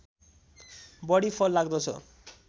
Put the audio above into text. बढी फल लाग्दछ